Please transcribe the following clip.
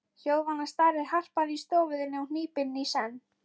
Hljóðvana starir harpan í stofu þinni og hnípin í senn.